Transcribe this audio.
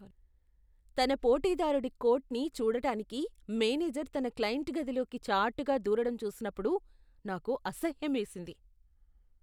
తన పోటీదారుడి కోట్ని చూడటానికి మేనేజర్ తన క్లయింట్ గదిలోకి చాటుగా దూరటం చూసినప్పుడు నాకు అసహ్యమేసింది.